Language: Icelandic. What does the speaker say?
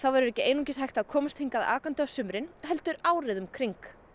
verður ekki einungis hægt að komast hingað akandi á sumrin heldur árið um kring